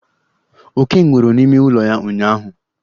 Oke nwụrụ n'ime ụlọ ya ụnyụahụ.